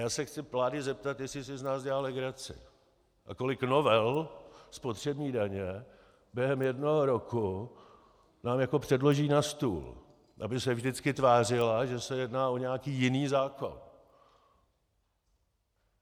Já se chci vlády zeptat, jestli si z nás dělá legraci a kolik novel spotřební daně během jednoho roku nám jako předloží na stůl, aby se vždycky tvářila, že se jedná o nějaký jiný zákon.